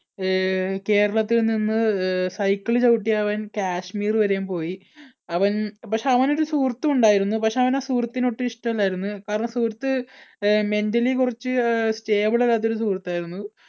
അഹ് കേരളത്തിൽനിന്ന് cycle ചവിട്ടി അവൻ കാശ്മീര് വരെയും പോയി അവൻ പക്ഷേ അവൻ ഒരു സുഹൃത്തും ഉണ്ടായിരുന്നു. പക്ഷേ അവനെ ആ സുഹൃത്തിനെ ഒട്ടും ഇഷ്ടമല്ലായിരുന്നു കാരണം ആ സുഹൃത്ത് mentally കുറച്ച് stable അല്ലാത്ത ഒരു സുഹൃത്തായിരുന്നു.